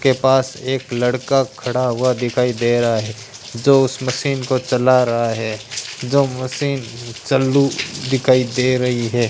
के पास एक लड़का खड़ा हुआ दिखाई दे रहा है जो उस मशीन को चला रहा है जो मशीन चालू दिखाई दे रही है।